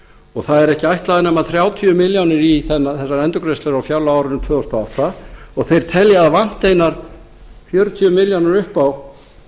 og það eru ekki ætlaðar nema þrjátíu milljónir í þessar endurgreiðslur á fjárlagaárinu tvö þúsund og átta og þeir telja að það vanti einar fjörutíu milljónir upp á